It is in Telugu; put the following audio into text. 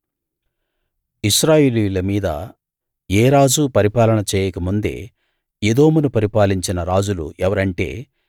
ఇశ్రాయేలీయుల మీద ఏ రాజూ పరిపాలన చేయక ముందే ఎదోమును పరిపాలించిన రాజులు ఎవరంటే